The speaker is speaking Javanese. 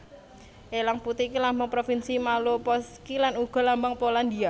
Elang Putih iki lambang provinsi Malopolskie lan uga Lambang Polandia